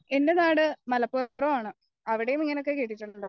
എന്റെ നാട് മലപ്പുറം ആണ് അവിടെയൊക്കെ ഇങ്ങനെയൊകെ കേട്ടിട്ടുണ്ടോ